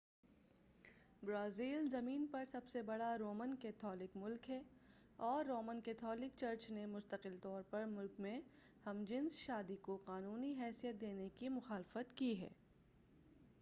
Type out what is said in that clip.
Brazil زمین پر سب سے بڑا رومن کیتھولک ملک ہے اور رومن کیتھولک چرچ نے مستقل طور پر ملک میں ہم جنس شادی کو قانونی حیثیت دینے کی مخالفت کی ہے